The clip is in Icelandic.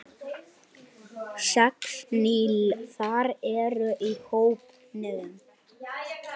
Sex nýliðar eru í hópnum.